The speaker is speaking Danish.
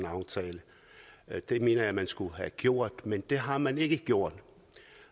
aftale det mener jeg man skulle have gjort men det har man ikke gjort